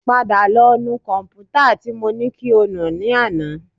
Padà lọ nu kọ̀m̀pútà tí mo ní kí o nù ní àná